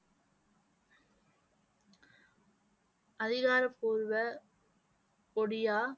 அதிகாரப்பூர்வ ஒடியா